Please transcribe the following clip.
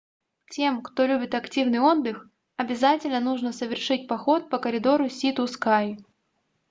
тем кто любит активный отдых обязательно нужно совершить поход по коридору си-ту-скай